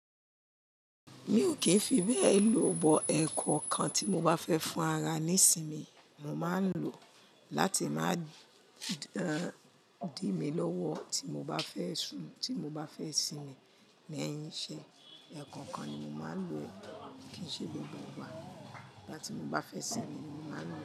Mi ò kí ń fi bẹ́ẹ̀ lò, bọ̀ ẹ̀kọ́ kan tí mo bá fẹ́ fún ara ní ìsinmi, mo máa ń lò ó láti máa dín mí lọ́wọ́ tí mo bá fẹ́ sún, tí mo bá fẹ́ sinmi. Kií ṣẹ, ẹ̀kọ́kan ni mo máa ń lò kíi ṣe gbogbo wa. Gba ti mó b á fẹ́ sinmi ni mo máa ń lò ó.